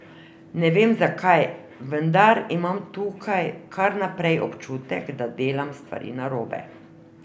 Ne vem zakaj, vendar imam tukaj kar naprej občutek, da delam stvari narobe.